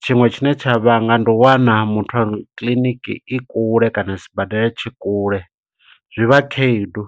Tshiṅwe tshine tsha vhanga ndi u wana muthu a, kiḽiniki i kule kana sibadela tshi kule, zwivha khaedu.